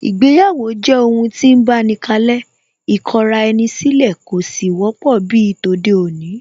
Ìgbéyàwó jẹ́ ohun tí ń báni kalẹ́, ìkọra-ẹni-sílẹ̀ kò sì wọ́pọ̀ bíi tòde-òní